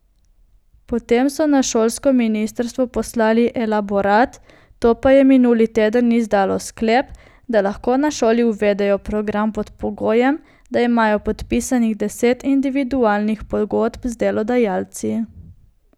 Potem so na šolsko ministrstvo poslali elaborat, to pa je minuli teden izdalo sklep, da lahko na šoli uvedejo program pod pogojem, da imajo podpisanih deset individualnih pogodb z delodajalci.